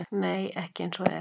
Nei- ekki eins og er.